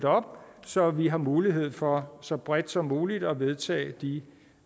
om så vi har mulighed for så bredt som muligt at vedtage de